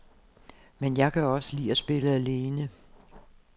Men jeg kan også lide at spille alene.